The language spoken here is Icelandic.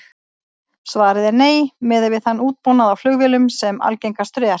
Svarið er nei, miðað við þann útbúnað á flugvélum sem algengastur er.